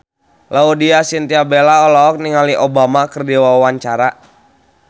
Laudya Chintya Bella olohok ningali Obama keur diwawancara